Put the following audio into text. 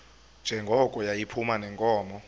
njengoko yayiphuma neenkomo